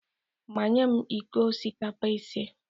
Manye m iko osikapa ise